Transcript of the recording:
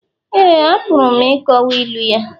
Éè, apụrụ m ịkọwa ilu ya